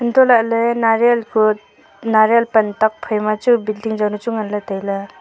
hantohlak ley nariyal ku nariyal pan tuakphaima chu building juanu chu nganley tailey.